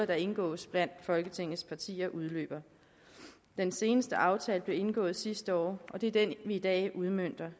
der indgås blandt folketingets partier udløber den seneste aftale blev indgået sidste år og det er den vi i dag udmønter